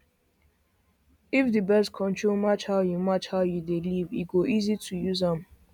if the birth control match how you match how you dey live e go easy to use am